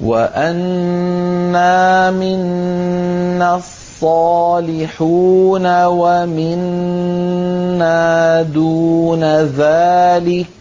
وَأَنَّا مِنَّا الصَّالِحُونَ وَمِنَّا دُونَ ذَٰلِكَ ۖ